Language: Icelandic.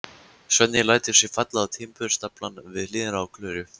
Svenni lætur sig falla á timburstaflann við hliðina á Klöru.